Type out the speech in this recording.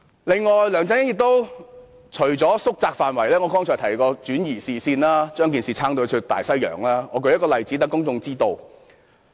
另外，梁振英除了縮窄調查範圍外，還轉移視線，離題萬丈，我舉一個例子讓公眾知道。